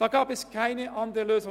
Da gab es keine andere Lösung.